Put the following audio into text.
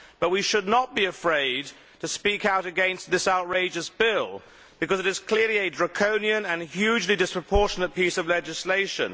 But we should not be afraid to speak out against this outrageous bill, because it is clearly a draconian and hugely disproportionate piece of legislation.